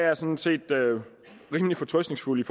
er sådan set rimelig fortrøstningsfuld i